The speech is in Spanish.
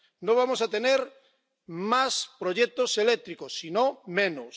No vamos a tener más proyectos eléctricos, sino menos.